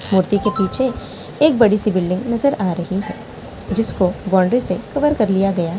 मूर्ती के पीछे एक बड़ी सी बिल्डिंग नजर आ रही है।